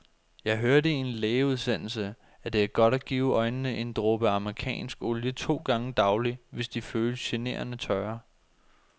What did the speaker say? Jeg hørte i en lægeudsendelse, at det er godt at give øjnene en dråbe amerikansk olie to gange daglig, hvis de føles generende tørre.